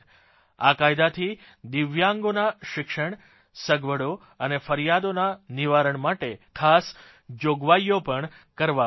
આ કાયદાથી દિવ્યાંગોના શિક્ષણ સગવડો અને ફરિયાદોના નિવારણ માટે ખાસ જોગવાઇઓ પણ કરવામાં આવી છે